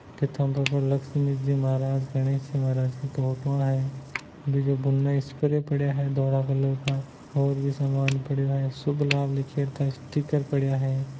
किताब पर लक्ष्मी जी महाराज गणेश जी महाराज की फोटोवा है बीजे बूम मेंस्प्रे पड़े है कलर का और भी सामान पड़ा है शुभ लाभ का स्टीकर पड़ा है।